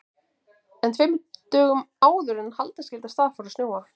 En tveimur dögum áður en halda skyldi af stað fór að snjóa.